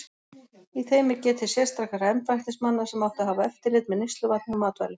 Í þeim er getið sérstakra embættismanna sem áttu að hafa eftirlit með neysluvatni og matvælum.